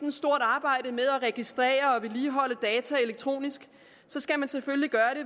et stort arbejde med at registrere og vedligeholde data elektronisk skal man selvfølgelig gøre